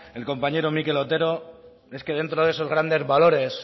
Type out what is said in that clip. el compañero mikel otero es que dentro de esos grandes valores